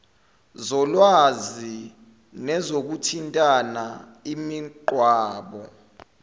zolwazi nezokuthintana imigwaqo